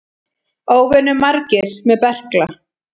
Óvenju margir með berkla